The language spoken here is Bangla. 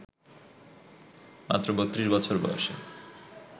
মাত্র ৩২ বছর বয়সে